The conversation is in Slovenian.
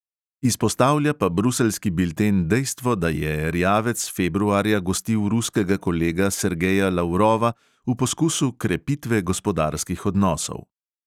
Izpostavlja pa bruseljski bilten dejstvo, da je erjavec februarja gostil ruskega kolega sergeja lavrova v poskusu krepitve gospodarskih odnosov.